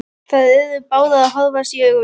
Þær yrðu báðar að horfast í augu við það.